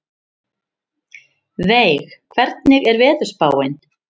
Veig, hvernig er veðurspáin?